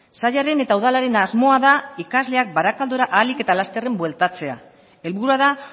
sailaren eta udalaren asmoa da ikasleak barakaldora ahalik eta lasterren bueltatzea helburua da